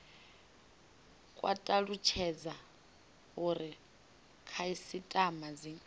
kwa talutshedza uri khasitama dzi